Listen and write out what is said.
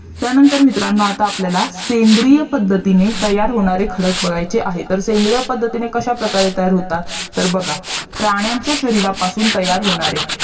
त्यांनातर मित्रांनो आता आपल्याला सेंद्रिय पद्धतीने तयार होणारे खडक बघायचे आहेत तर सेंद्रिय पद्धतीने कसा प्रकारे तयार होतात तर बघा प्राण्यांच्या शरीरपासून तयार होणारे